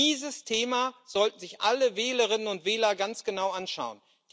Dieses Thema sollten sich alle Wählerinnen und Wähler ganz genau anschauen.